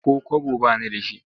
Ko kwabo ba ni da shi.